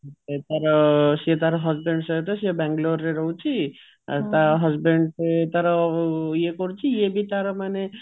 ସେ ତାର ସିଏ ତାର husband ସହିତ ସିଏ ବାଙ୍ଗାଲୋର ରେ ରହୁଛି ଆଉ ତା husband ତାର ଇଏ କରୁଛି ଇଏବି ତାର ମାନେ